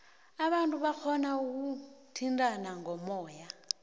abantu barhona ukuthintana ngomoya